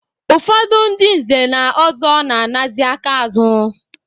Ụfọdụ ndị nze na ọzọ na-anazị aka azụ.